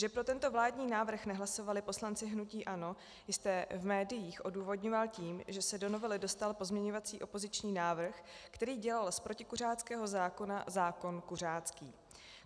Že pro tento vládní návrh nehlasovali poslanci hnutí ANO, jste v médiích odůvodňoval tím, že se do novely dostal pozměňovací opoziční návrh, který dělal z protikuřáckého zákona zákon kuřácký.